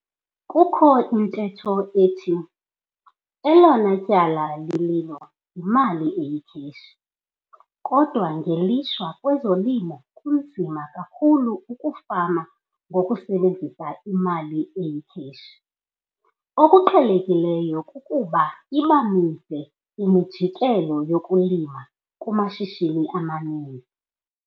Kukho intetho ethi - 'elona tyala lililo yimali eyikheshi' - kodwa ngelishwa kwezolimo kunzima kakhulu ukufama ngokusebenzisa imali eyikheshi. Okuqhelekileyo kukuba iba mide imijikelo yokulima kumashishini amaninzi.